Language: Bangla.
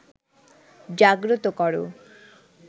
জাগ্রত করো